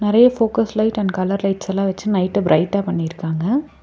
நெறைய focus light and lights வச்சு நைட்ட ப்ரைட்டா பண்ணிருக்காங்க.